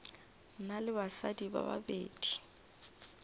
na le basadi ba babedi